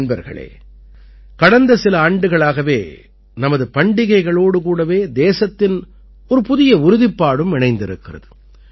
நண்பர்களே கடந்த சில ஆண்டுகளாகவே நமது பண்டிகைகளோடு கூடவே தேசத்தின் ஒரு புதிய உறுதிப்பாடும் இணைந்திருக்கிறது